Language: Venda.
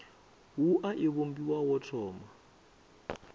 wua i vhumbiwa ho thoma